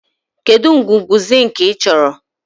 Kedu ngwugwu zink ị chọrọ?